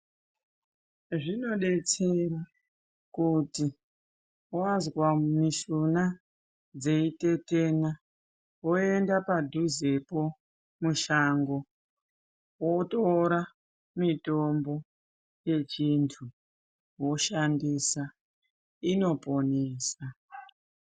Zvinodetsera kuti wazwa mishuna dzitetena woenda padhuzepo mushango wotora mutombo yechiantu woshandisa inoponesa.